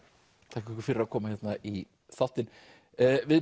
þakka ykkur fyrir að koma hérna í þáttinn við